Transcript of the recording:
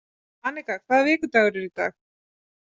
Annika, hvaða vikudagur er í dag?